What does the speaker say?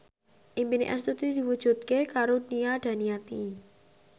impine Astuti diwujudke karo Nia Daniati